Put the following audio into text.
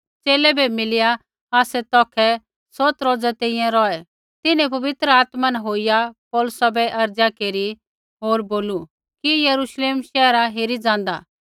च़ेले बै मिलिया आसै तौखै सौत रोज़ा तैंईंयैं रौहै तिन्हैं पवित्र आत्मा न होईया पौलुसा बै अर्ज़ा केरिया बोलू कि यरूश्लेम शैहरा हेरी ज़ाँदा